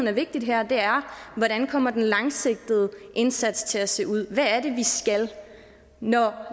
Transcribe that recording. er vigtigt her er hvordan kommer den langsigtede indsats til at se ud hvad er det vi skal når